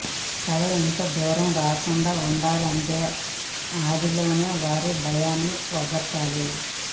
కథ ఇంత దూరం రాకుండా ఉండాలంటే ఆదిలోనే వారి భయాన్ని పోగొట్టాలి